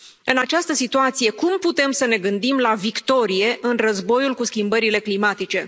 În această situație, cum putem să ne gândim la victorie în războiul cu schimbările climatice?